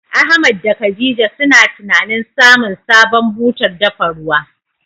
Ahmad da khadija suna tunanin samun sabon butar dafa ruwa.